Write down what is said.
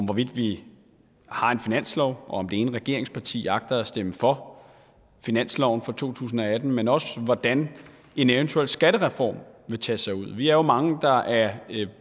hvorvidt vi har en finanslov og om det ene regeringsparti agter at stemme for finansloven for to tusind og atten men også hvordan en eventuel skattereform vil tage sig ud vi er jo mange der er